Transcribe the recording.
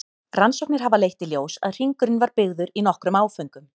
Rannsóknir hafa leitt í ljós að hringurinn var byggður í nokkrum áföngum.